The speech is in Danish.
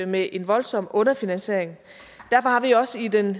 med en voldsom underfinansiering derfor har vi også i den